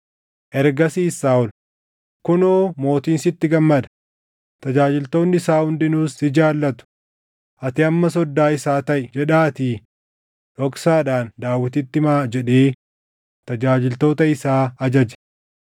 Ergasiis Saaʼol, “ ‘Kunoo mootiin sitti gammada; tajaajiltoonni isaa hundinuus si jaallatu; ati amma soddaa isaa taʼi’ jedhaatii dhoksaadhaan Daawititti himaa” jedhee tajaajiltoota isaa ajaje.